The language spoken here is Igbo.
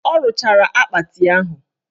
Ọ rụchara akpati ahụ